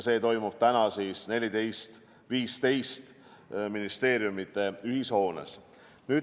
See toimub täna kell 14.15 ministeeriumide ühishoones.